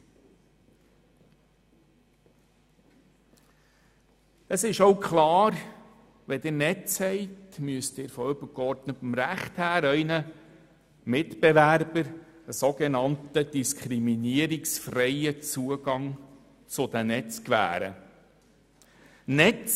Wenn Sie Netze haben, ist auch klar, dass Sie Ihren Mitbewerbern gestützt auf übergeordnetes Recht einen soge300 Mio. Franken von nannten diskriminierungsfreien Zugang zu diesen gewähren müssen.